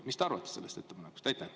Mis te arvate sellest ettepanekust?